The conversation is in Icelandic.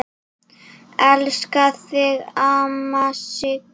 Elska þig, amma Sigga.